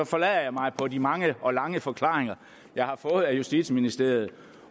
forlader jeg mig på de mange og lange forklaringer jeg har fået af justitsministeriet